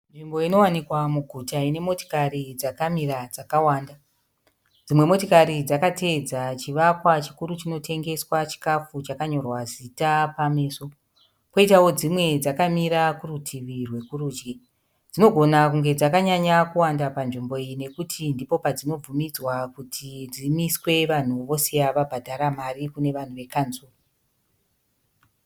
Nzvimbo inowanikwa muguta ine motikari dzakamira dzakawanda. Dzimwe motikari dzakamira dzakateedza chivakwa chikuru chinotengeswa chikafu chakanyorwa zita pameso. Poitawo dzimwe dzakamira kurutivi rwekurudyi. Dzinogona kunge dzakanyanya kuwanda panzvimbo iyi nekuti ndipo padzinobvumidzwa kuti dzimiswe vanhu vosiya vabhadhara mari kune vanhu vekanzuru.